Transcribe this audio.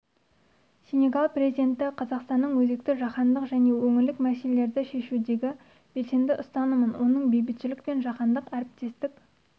сенегал президенті қазақстанның өзекті жаһандық және өңірлік мәселелерді шешудегі белсенді ұстанымын оның бейбітшілік пен жаһандық әріптестік